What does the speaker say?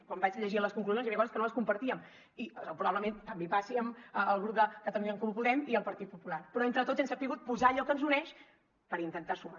quan vaig llegir les conclusions hi havia coses que no compartíem i probablement també passa en els grups de catalunya en comú podem i el partit popular però entre tots hem sabut posar hi allò que ens uneix per intentar sumar